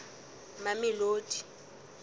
mamelodi